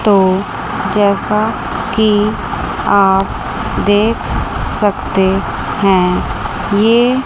तो जैसा कि आप देख सकते हैं ये--